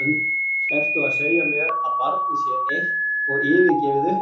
ERTU AÐ SEGJA MÉR AÐ BARNIÐ SÉ EITT OG YFIRGEFIÐ UPPI!